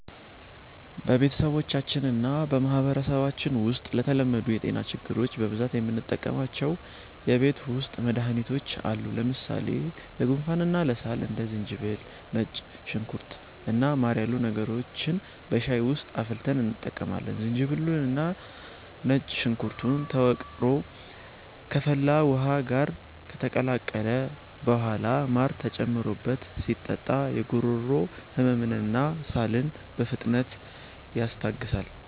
በቤተሰባችንና በማህበረሰባችን ውስጥ ለተለመዱ የጤና ችግሮች በብዛት የምንጠቀማቸው የቤት ውስጥ መድሃኒቶች አሉ። ለምሳሌ ለጉንፋንና ለሳል እንደ ዝንጅብል፣ ነጭ ሽንኩርት እና ማር ያሉ ነገሮችን በሻይ ውስጥ አፍልተን እንጠቀማለን። ዝንጅብሉና ነጭ ሽንኩርቱ ተወቅሮ ከፈላ ውሃ ጋር ከተቀላቀለ በኋላ ማር ተጨምሮበት ሲጠጣ የጉሮሮ ህመምንና ሳልን በፍጥነት ያስታግሳል።